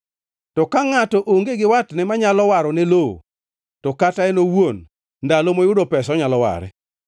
To ka ngʼato onge gi watne manyalo warone lowo, to kata en owuon ndalo moyudo pesa onyalo ware,